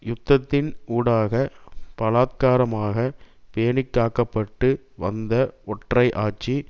யுத்தத்தின் ஊடாக பலாத்காரமாக பேணிக்காக்கப்பட்டு வந்த ஒற்றை ஆட்சி